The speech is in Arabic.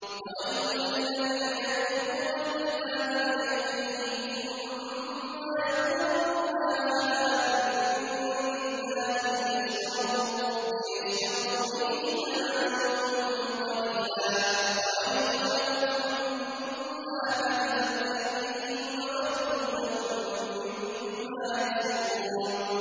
فَوَيْلٌ لِّلَّذِينَ يَكْتُبُونَ الْكِتَابَ بِأَيْدِيهِمْ ثُمَّ يَقُولُونَ هَٰذَا مِنْ عِندِ اللَّهِ لِيَشْتَرُوا بِهِ ثَمَنًا قَلِيلًا ۖ فَوَيْلٌ لَّهُم مِّمَّا كَتَبَتْ أَيْدِيهِمْ وَوَيْلٌ لَّهُم مِّمَّا يَكْسِبُونَ